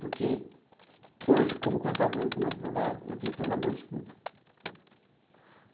Porque hoje, como contador e como advogado, eu tenho que ter uma boa escuta.